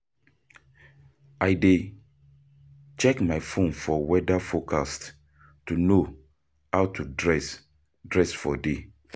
I dey check my phone for weather forecast to know how to dress dress for day.